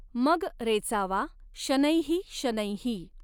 मग रेचावा शनैःशनैः।